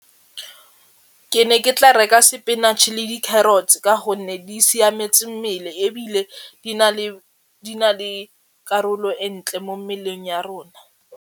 Ke ne ke tla reka sepinatšhe le di-carrots ka gonne di siametse mmele ebile di na le karolo e ntle mo mmeleng ya rona.